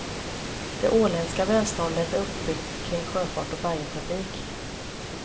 Det åländska välståndet är uppbyggt kring sjöfart och färjetrafik.